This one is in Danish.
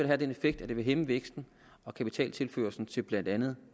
have den effekt at det vil hæmme væksten og kapitaltilførslen til blandt andet